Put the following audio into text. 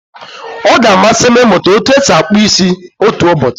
Ọ ga-amasị m ịmụta otú e si akpụ isi otu ụbọchị.